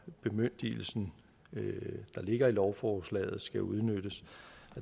bemyndigelse der ligger i lovforslaget skal udnyttes